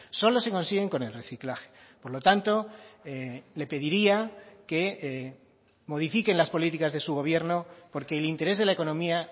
solo se consiguen con el reciclaje por lo tanto le pediría que modifiquen las políticas de su gobierno porque el interés de la economía